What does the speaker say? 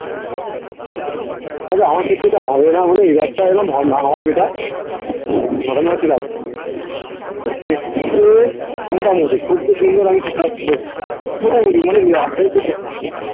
তবে আমার ক্ষেত্রে ওটা হবে না হলেও এইবারটা একদম হ না হওয়াই better দেখতে মোটামুটি খুব বেশি সুন্দর আমি মোটামুটি মানে